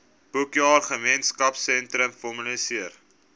boekjaar gemeenskapsteun formaliseer